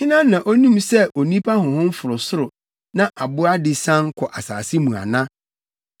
Hena na onim sɛ onipa honhom foro soro na aboa de sian kɔ asase mu ana?”